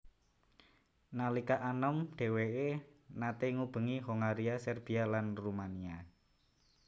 Nalika anom dhèwèké naté ngubengi Hongaria Serbia lan Rumania